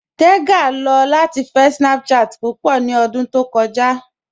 Tẹ́gà lọ latí fẹ̀ Snapchat púpọ̀ ní òdún tó kọja.